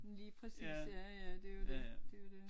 Lige præcis ja ja det jo det det jo det